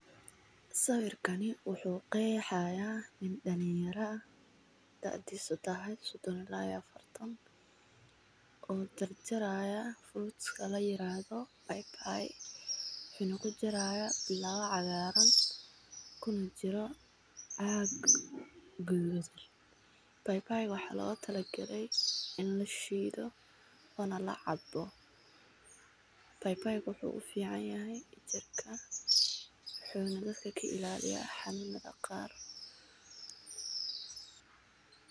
Sawirkani wuxuu qeexayaa in dhanneeyara taadiiso tahay 34 oo jarjaraya fruits kala yiraahdo baybay, xun uku jaraya bilaa cagaaran ku jira aag gedhud. Baybaygu waxaa la talo galay in la shiido wana la cabbo. Baybaygu wuxuu u fiicanyahay jiirka xunuga ka kiilaaliya xanun aqaar.